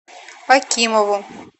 акимову